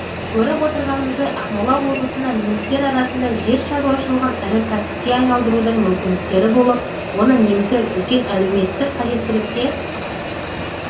көріп отырғанымыздай ақмола облысында немістер арасында жер шаруашылығын ірі кәсіпке айналдырудың мүмкіндіктері болып оны немістер үлкен әлеуметтік қажеттілікке